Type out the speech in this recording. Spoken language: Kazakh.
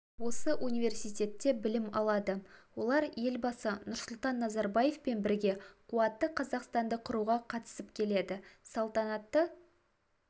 осы университетте білім алады олар елбасы нұрсұлтан назарбаевпен бірге қуатты қазақстанды құруға қатысып келеді салтанатты